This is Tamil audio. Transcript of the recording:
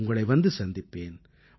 உங்களை வந்து சந்திப்பேன்